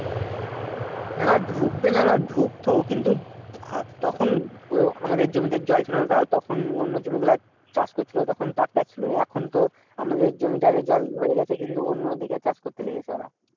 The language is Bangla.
না ডুকবে না ডুকতো কিন্তু আর তখন ও আমাদের জমিতে জল ছিলনা তা তখন অন্য জমিগুলার চাষ করছিল। তখন tractor ছিল এখন তো আমাদের জমিটার জল হয়ে গেছে কিন্তু অন্যদিকে চাষ করতে গেলে তো আর